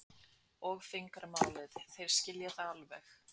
og fingramálið, þeir skilja það alveg.